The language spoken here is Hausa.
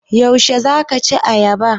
Yaushe za ka ci ayaba?